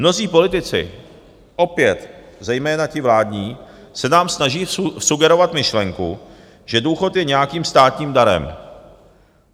Mnozí politici, opět zejména ti vládní, se nám snaží vsugerovat myšlenku, že důchod je nějakým státním darem.